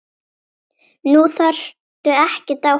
Nú þarftu ekkert að óttast.